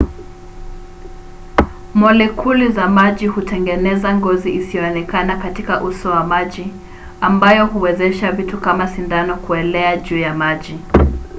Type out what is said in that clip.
molekuli za maji hutengeneza ngozi isiyoonekana katika uso wa maji ambayo huwezesha vitu kama sindano kuelea juu ya maji